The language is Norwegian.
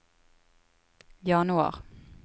januar